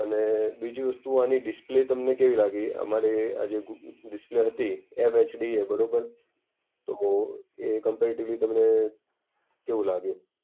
અને બીજી વસ્તુ આની ડિસ્પ્લે તમને કેવી લાગી? અમારે આ જે ડિસ્પ્લે હતી, એમ HD બરાબર, તો એ કમ્પૅરેટિવલી તમને કેવું લાગ્યું.